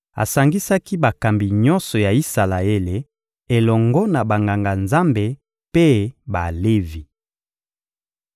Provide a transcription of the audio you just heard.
Asangisaki bakambi nyonso ya Isalaele elongo na Banganga-Nzambe mpe Balevi.